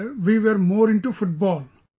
Earlier we were more into Football